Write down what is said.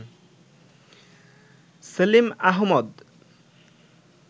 Selim Ahmad